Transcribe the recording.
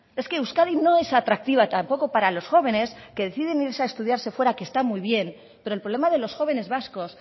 es que euskadi no es atractiva tampoco para los jóvenes que deciden irse a estudiarse fuera que está muy bien pero el problema de los jóvenes vascos